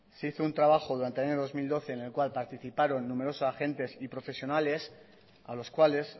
se hizo un trabajo durante el año dos mil doce en el cual participaron numerosos agentes y profesionales a los cuales